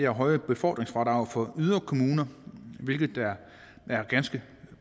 høje befordringsfradrag for yderkommuner hvilket da er ganske